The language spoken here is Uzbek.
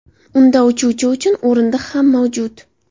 Unda uchuvchi uchun o‘rindiq ham mavjud.